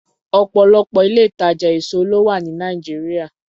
Ọ̀pọ̀lọpọ̀ ilé-ìtàjà èso ló wà ní Nàìjíríà.